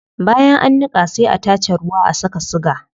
Bayan an niqa sai a tace ruwa a saka siga